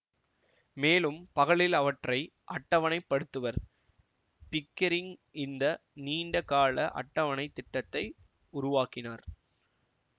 மேலும் பகலில் அவற்றை அட்டவணைப்படுத்துவர் பிக்கெரிங் இந்த நீண்ட கால அட்டவணைத் திட்டத்தினை உருவாக்கினார்